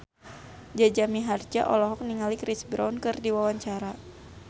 Jaja Mihardja olohok ningali Chris Brown keur diwawancara